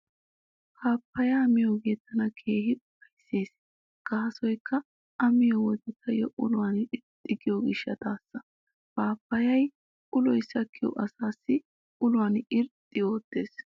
Paappaayyiyaa miyoogee tana keehi ufayssees gaasoykka a miyo wode taayyo uluwan irxxi giyo gishshataassa. Paaappaayee uloy sakkiyo asaassi uluwan irxxi oottees.